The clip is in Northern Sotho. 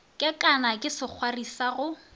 kekana ke sekgwari sa go